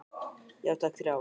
Já takk, þrjá.